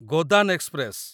Godan express